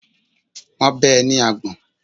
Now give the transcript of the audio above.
Wọ́n bẹ́ ẹ ní àgbọ̀n.